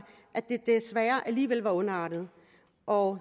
at den desværre alligevel var ondartet og